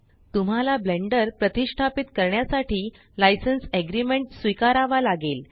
तुम्हाला ब्लेंडर प्रतीस्ष्टापीत करण्यासाठी लायसेन्स एग्रीमेंट स्वीकारावा लागेल